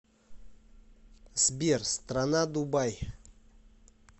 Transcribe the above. сбер страна дубай